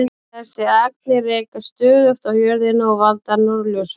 Þessar agnir rekast stöðugt á jörðina og valda norðurljósum.